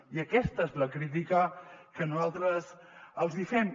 i aquesta és la crítica que nosaltres els hi fem